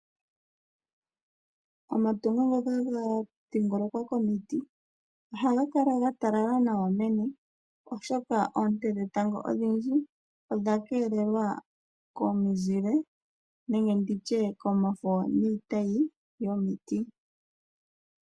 Omatungo ngoka ga dhingolokwa komiti ohaga kala ga talala nawa meni, oshoka oonte dhetango odhindji odha keelelwa komizile nenge ndi tye komafo niitayi yomiti.